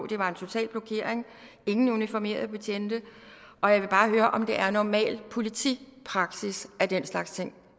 det var en total blokering ingen uniformerede betjente og jeg vil bare høre om det er normal politipraksis at den slags ting